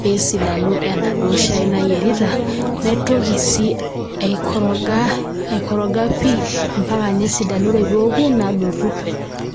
pesidanu enaduo shai nayierita naitoki si aikoroga pii ambaka nesidanu ore peoku pii nadotu.